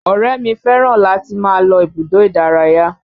Ọ̀rẹ́ mi fẹ́ràn láti máa lọ ibùdó ìdárayá